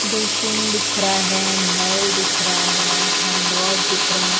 Basin दिख रहा है नल दिख रहा है हैड वॉश दिख रहा है।